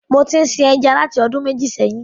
Mo ti bérè sí ní sin ẹja láti ọdún mẹ́jì sẹ́hìn.